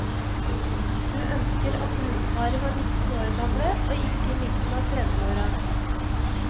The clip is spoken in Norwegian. Du ønsker at brudeparet var nitten år gamle og ikke i midten av tredveåra.